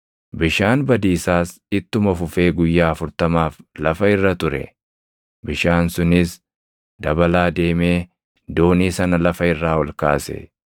Bishaan badiisaas ittuma fufee guyyaa afurtamaaf lafa irra ture; bishaan sunis dabalaa deemee doonii sana lafa irraa ol kaase.